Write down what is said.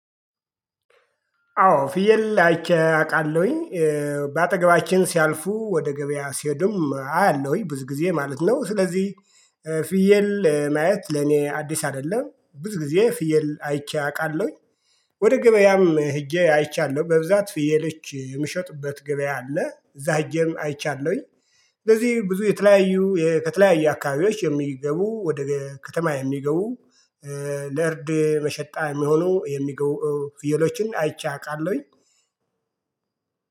አዎ ፍየል አይቼ አውቃለሁኝ በአጠገባችን ሲያልፉ ወደ ገበያ ሲሄዱም አያለሁኝ ብዙ ጊዜ ማለት ነው። ስለዚህ ፍየል ማየት ለኔ አዲስ አይደለም ብዙ ጊዜ ፍየል አይቼ አውቃለሁኝ። ወደ ገበያም ሄጄ አይቻለሁ በብዛት ፍየሎች የሚሸጡበት ገበያ አለ እዛ ሄጀም አይቻለሁኝ። ስለዚህ ብዙ የተለያዩ ከተለያዩ አካባቢዎች የሚገቡ ወደ ከተማ የሚገቡ ለእርድ መሸቀያ የሚሆኑ የሚገቡ ፍየሎችን አይቼ አውቃለሁኝ